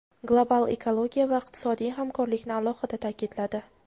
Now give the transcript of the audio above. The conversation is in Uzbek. global ekologiya va iqtisodiy hamkorlikni alohida ta’kidladi.